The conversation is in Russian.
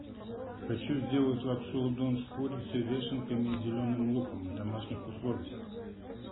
хочу сделать лапшу удон с курицей вешенками и зеленым луком в домашних условиях